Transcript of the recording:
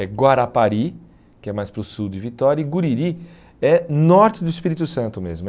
É Guarapari, que é mais para o sul de Vitória, e Guriri é norte do Espírito Santo mesmo.